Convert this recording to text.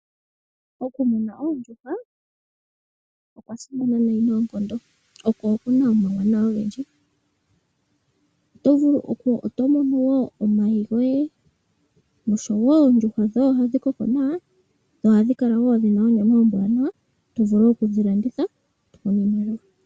Okumuna oondjuhwa, okwa simana nayi noonkondo, ko okuna omauwanawa ogendji. Oto mono omayi goye, noshowo oondjuhwa dhoye ohadhi koko nawa, dho ohadhi kala dhina onyama ombwanawa, tovulu okudhi landitha, e tomono iimaliwa.